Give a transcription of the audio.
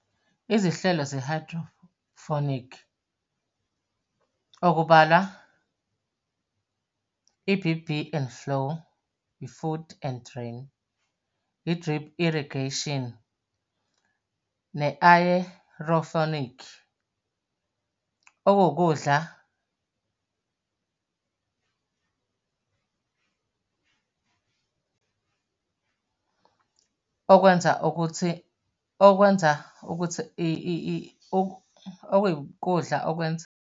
Izihlelo ze-hydroponic, okubalwa, E_B_B and flow, i-food and drain. I-Drip Irrigation, ne-Aeroponic. Okuwukudla okwenza ukuthi, okwenza ukuthi okuwukudla okwenza.